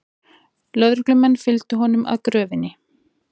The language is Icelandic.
Lögreglumenn fylgdu honum að gröfinni